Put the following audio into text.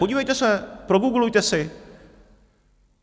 Podívejte se, progooglujte si.